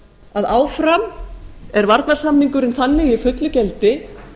að áfram er varnarsamningurinn þannig í fullu gildi